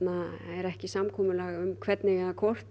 er ekki samkomulag um hvernig eða hvort